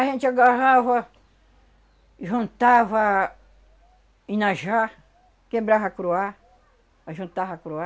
A gente agarrava, juntava inajá, quebrava curuá, ajuntava curuá.